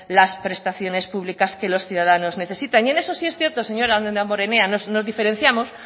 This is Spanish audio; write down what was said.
las prestaciones públicas que los ciudadanos necesitan y en eso si es cierto señor damborenea nos diferenciamos